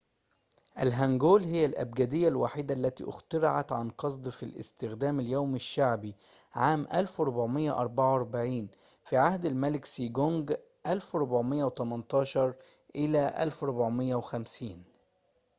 الهانجول هي الأبجدية الوحيدة التي اخترعت عن قصد في الاستخدام اليومي الشعبي عام 1444 في عهد الملك سيجونج 1418 - 1450